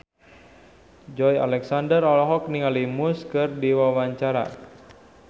Joey Alexander olohok ningali Muse keur diwawancara